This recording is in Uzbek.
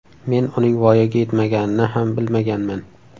Men uning voyaga yetmaganini ham bilmaganman.